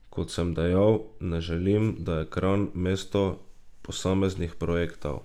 Kot sem dejal, ne želim, da je Kranj mesto posameznih projektov.